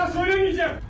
Bir daha söyləyəcəm.